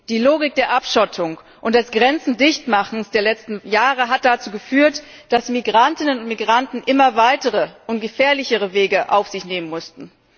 Die Logik der Abschottung und des Grenzendichtmachens der letzten Jahre hat dazu geführt, dass Migrantinnen und Migranten immer weitere und gefährlichere Wege auf sich nehmen mussten.